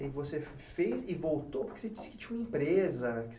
E você fez e voltou porque você disse que tinha uma empresa.